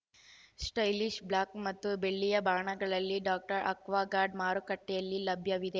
stylish black ಮತ್ತು ಬೆಳ್ಳಿಯ ಬಣ್ಣಗಳಲ್ಲಿ ಡಾಕ್ಟರ್ ಆಕ್ವಾಗಾರ್ಡ್ ಮಾರುಕಟ್ಟೆಯಲ್ಲಿ ಲಭ್ಯವಿದೆ